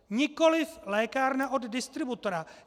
Nikoliv lékárna od distributora.